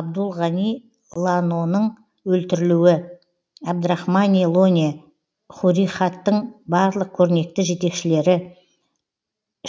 абдул гани лонаның өлтірілуі абрахамани лоне хурихаттың барлық көрнекті жетекшілері